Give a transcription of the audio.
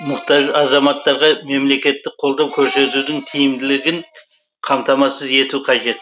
мұқтаж азаматтарға мемлекеттік қолдау көрсетудің тиімділігін қамтамасыз ету қажет